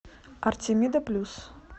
артемида плюс